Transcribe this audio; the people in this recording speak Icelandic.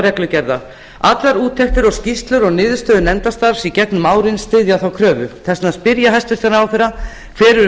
reglugerða allar úttektir skýrslur og niðurstöður nefndarstarfs í gegnum árin styðja þá kröfu þess vegna spyr ég hæstvirtan ráðherra hver eru